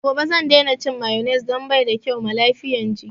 Daga gobe zan daina cin mayones dan baida kyau ma lafiyan jiki